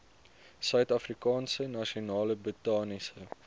suidafrikaanse nasionale botaniese